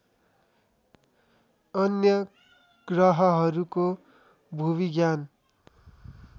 अन्य ग्रहहरूको भूविज्ञान